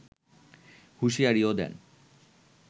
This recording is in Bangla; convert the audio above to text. হুঁশিয়ারিও দেন